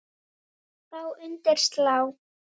Þá undir slá.